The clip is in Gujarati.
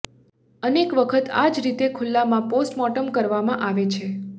અનેક વખત આ જ રીતે ખુલ્લામાં પોસ્ટમોર્ટમ કરવામાં આવે છે